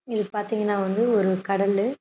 இது பாத்தீங்கனா வந்து ஒரு கடலு.